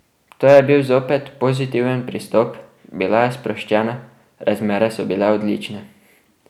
To je bil zopet pozitiven pristop, bila je sproščena, razmere so bile odlične.